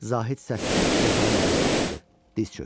Zahid səssiz yatağın yanına atıldı, diz çökdü.